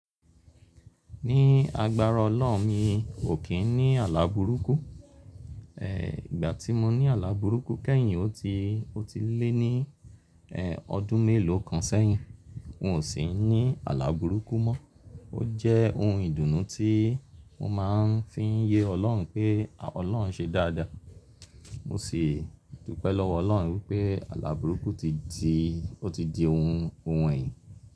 Ní agbára Ọlọ́run mi ò kí n ní àlá burúkú. E, ìgbà tí mo ní àlá burúkú kẹ́yìn ó ti, ó ti lé ní e, ọdún mélòó kan sẹ́yìn. N ò sí ní àlá burúkú mọ. Ó jẹ́ ohun ìdùnnú tí mo máa ń fi ń ye Ọlọ́run pé Ọlọ́run ṣe dáadáa. Mo sì dúpẹ́ lọ́wọ́ Ọlọ́run wípé àlá burúkú ti di, ó ti di ohun, ohun ẹyìn.